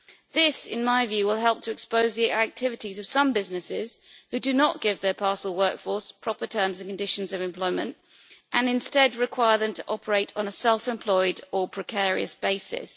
This, in my view, will help to expose the activities of some businesses who do not give their parcel workforce proper terms and conditions of employment, and instead require them to operate on a self employed or precarious basis.